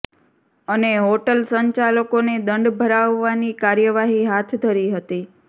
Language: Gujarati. અને હોટલ સંચાલકોને દંડ ભરાવવાની કાર્યવાહી હાથ ધરી હતી